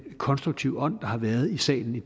konstruktive ånd der har været i salen i